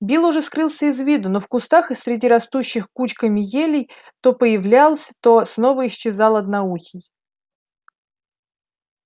билл уже скрылся из виду но в кустах и среди растущих кучками елей то появлялся то снова исчезал одноухий